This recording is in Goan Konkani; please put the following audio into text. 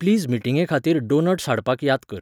प्लीज मिटींगेखातीर डोनट्स हाडपाक य़ाद कर